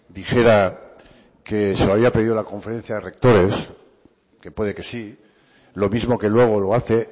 dijera que se había pedido la conferencia de rectores que puede que sí lo mismo que luego lo hace